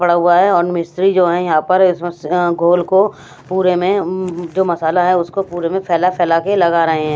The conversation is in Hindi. पड़ा हुआ है और मिस्त्री जो है यहां पर इसमें गोल को पूरे में जो मसाला है उसको पूरे में फैला फैला के लग रहे हैं।